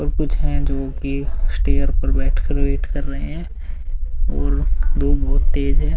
कुछ है जो उनकी स्टेयर पर बैठ कर वेट कर रहे हैं और धूप बहोत तेज़ है।